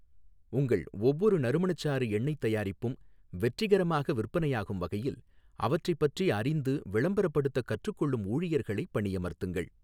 உங்கள் ஒவ்வொரு நறுமணச்சாறு எண்ணெய்த் தயாரிப்பும் வெற்றிகரமாக விற்பனையாகும் வகையில் அவற்றைப் பற்றி அறிந்து விளம்பரப்படுத்தக் கற்றுக்கொள்ளும் ஊழியர்களை பணியமர்த்துங்கள்.